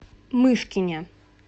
мышкине